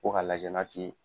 Ko ka lajɛ na t'i.